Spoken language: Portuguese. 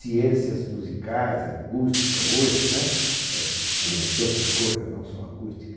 Ciências musicais, acústica hoje né, eh entre outras coisas, não só acústica.